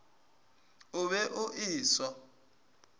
o be o e swa